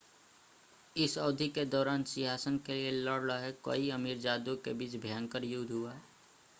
इस अवधि के दौरान सिंहासन के लिए लड़ रहे कई अमीरजादों के बीच भयंकर युद्ध हुआ